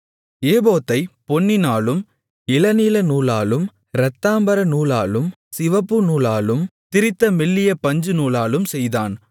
ஏபோத்தைப் பொன்னினாலும் இளநீலநூலாலும் இரத்தாம்பரநூலாலும் சிவப்புநூலாலும் திரித்த மெல்லிய பஞ்சுநூலாலும் செய்தான்